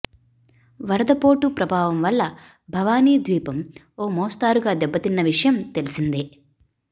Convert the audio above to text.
వరదపోటు ప్రభావం వల్ల భవానీ ద్వీపం ఓ మోస్తరుగా దెబ్బతిన్న విషయం తెలిసిందే